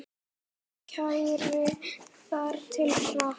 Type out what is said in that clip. Kælið þar til hart.